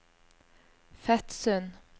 Fetsund